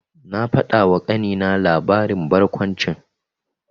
Na faɗawa ƙanina labarin barkwanci.